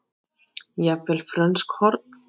Eða jafnvel frönsk horn?